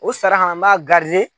O sara ka na n b'a .